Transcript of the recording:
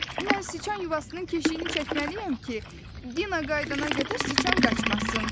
Mən siçan yuvasının keşiyini çəkməliyəm ki, Dina qayıdana qədər siçan qaçmasın.